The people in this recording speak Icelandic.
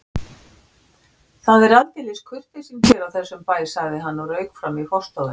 Það er aldeilis kurteisin hér á þessum bæ sagði hann og rauk fram í forstofuna.